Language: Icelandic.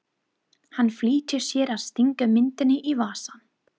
Hann flýtir sér að stinga myndinni í vasann.